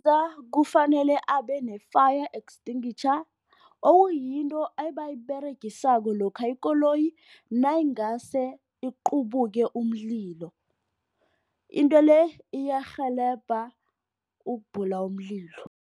Kufanele abe ne-fire extinguisher okuyinto abayiberegisako lokha ikoloyi] nayingase iqubeke umlilo. Into le iyarhelebha ukubhula umlilo.